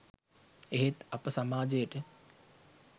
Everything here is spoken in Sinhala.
එහෙත් අප සමාජයට